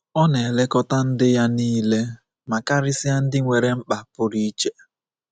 Ọ na-elekọta ndị ya nile — ma karịsịa ndị nwere mkpa pụrụ iche.